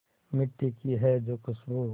मिट्टी की है जो खुशबू